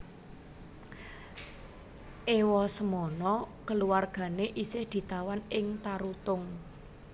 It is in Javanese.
Ewasemono keluargane isih ditawan ing Tarutung